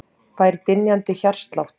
Fær dynjandi hjartslátt.